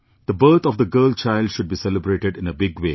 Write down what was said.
The birth of the girl child should be celebrated in a big way